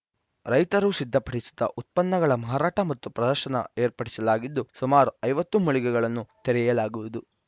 ರೈತರು ಸಿದ್ಧಪಡಿಸಿದ ಉತ್ಪನ್ನಗಳ ಮಾರಾಟ ಮತ್ತು ಪ್ರದರ್ಶನ ಏರ್ಪಡಿಸಲಾಗಿದ್ದು ಸುಮಾರು ಐವತ್ತು ಮಳಿಗೆಗಳನ್ನು ತೆರೆಯಲಾಗುವುದು